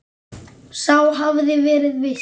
Sá hafði verið viss!